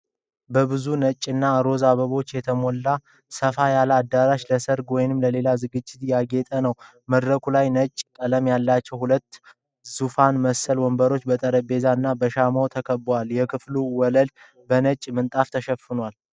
በብዙ ነጭና ሮዝ አበባዎች የተሞላ ሰፋ ያለ አዳራሽ ለሠርግ ወይም ለሌላ ዝግጅት ያጌጠ ነው። መድረኩ ላይ ነጭ ቀለም ያላቸው ሁለት ዙፋን መሰል ወንበሮች በጠረጴዛዎች እና በሻማዎች ተከበዋል። የክፍሉ ወለል በነጭ ምንጣፍ የተሸፈነ ነው፡፡